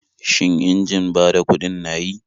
Shin injin bada kuɗin na yi?